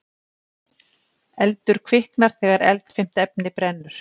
Eldur kviknar þegar eldfimt efni brennur.